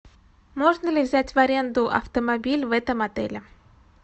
можно ли взять в аренду автомобиль в этом отеле